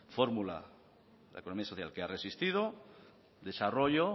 fórmula que la economía social que ha resistido desarrollo